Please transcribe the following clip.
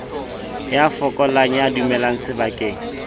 ya fokolang ya dulang sebakeng